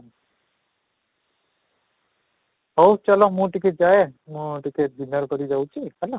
ହଉ ଚାଲ ମୁଁ ଟିକେ ଯାଏ ମୁଁ ଟିକେ dinner କରି ଯାଉଛି ହେଲା